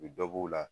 U bɛ dɔ bɔ b'u la